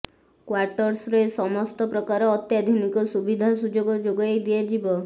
କ୍ୱାଟର୍ସରେ ସମସ୍ତ ପ୍ରକାର ଅତ୍ୟାଧୁନିକ ସୁବିଧା ସୁଯୋଗ ଯୋଗାଇ ଦିଆଯିବ